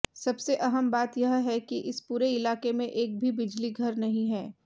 सबसे अहम बात यह है कि इस पूरे इलाके में एक भी बिजलीघर नहीं है